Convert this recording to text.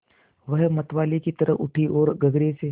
वह मतवाले की तरह उठी ओर गगरे से